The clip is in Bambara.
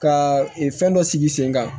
Ka fɛn dɔ sigi sen kan